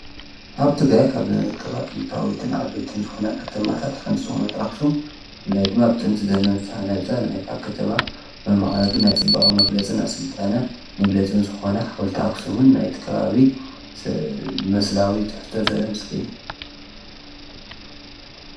ኣብቲ ጋይ ካብ ከባ ጥንታዊትን ዓ በይትን ዝኾና ኸተማታት ሓንቲ ዝኾነት ኣኹስም ፍላይ ድማ ብጥንቲ ዘመጽሓነጸ ነኤታ ኸተማ መመዓግን ናይ ጽበቓ መግለጽን ሥልጣነ መግለጽን ዝኾና ሓወልታ ኣክስሙን ናይትከባዊ መስላዊ ብትሕቶ ዘደ ምስለ እዩ።